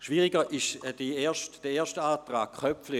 Schwieriger ist hingegen der Antrag Köpfli.